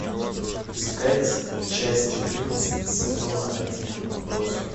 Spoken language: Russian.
искать часть четырнадцать сезона один отбросы